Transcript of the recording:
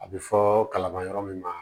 A bɛ fɔ kalama yɔrɔ min ma